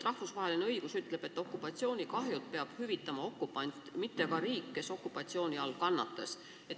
Rahvusvahelise õiguse kohaselt peab okupatsioonikahjud hüvitama okupant, mitte aga riik, kes okupatsiooni all kannatas.